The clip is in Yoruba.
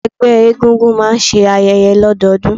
Ẹgbẹ́ egúngún máà ń ṣe ayẹyẹ lọdọọdun.